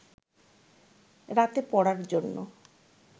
রাতে পড়ার জন্য